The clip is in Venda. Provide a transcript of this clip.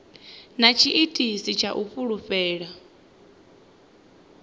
na tshiitisi tsha u fulufhela